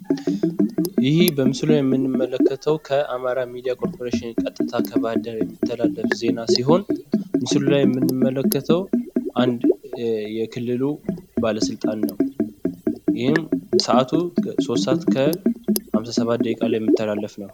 ይሀ በምስሉ ላይ የምንመልከተው ከአማራ ሚዲያ ኮርፖሬሽን ቀጥታ ከባህርዳር የሚተላለፍ ዜና ሲሆን፤ ምስሉ ላይ የምንመለከተው አንድ የክልሉ ባለስልጣን ነው። ይህም ሰአቱ ሶስት ሰአት ከሃምሳ ሰባት ደቂቃ ላይ የሚተላለፍ ነው።